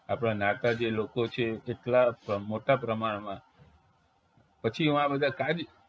આપણા નહાતા જે લોકો છે એ એટલા મોટા પ્રમાણમાં પછી વા બધા કાજુ